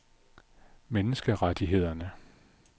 menneskerettighederne